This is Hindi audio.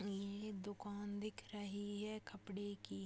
ये दुकान दिख रही है कपड़े की --